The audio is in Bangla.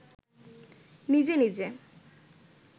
নিজে নিজে